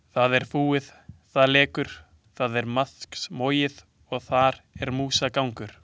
Það er fúið, það lekur, það er maðksmogið og þar er músagangur.